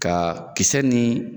Ka kisɛ ni